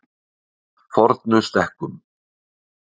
Fornustekkum